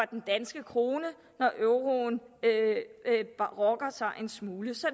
den danske krone når euroen rokker sig en smule så